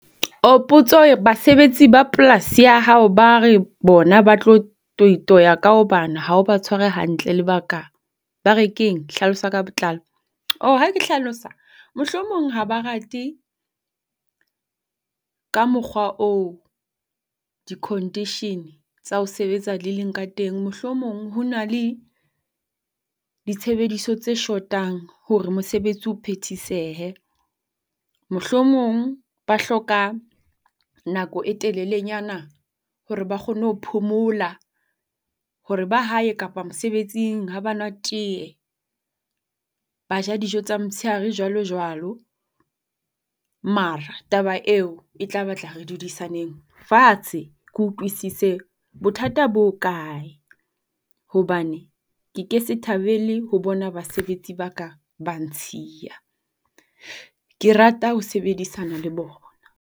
Potso e re basebetsi ba polasi ya hao bare bona ba tlo toi-toya ka hobane ha o ba tshware hantle lebaka ba re keng hlalosa ka botlalo. Ha ke hlalosa, mohlomong ha ba rate ka mokgwa oo di-condition tsa ho sebetsa di leng ka teng. Mohlomong ho na le ditshebediso tse shotang hore mosebetsi o phethisehe. Mohlomong ba hloka nako e telelenyana hore ba kgone ho phomola hore ba hae kapa mosebetsing ha ba nwa tee, ba ja dijo tsa motshehare jwalo jwalo. Mara taba eo e tla ba tla re dudisaneng fatshe ke utlwisise bothata bo ho kae hobane ke ke se thabele ho bona basebetsi ba ka ba ntshia. Ke rata ho sebedisana le bona.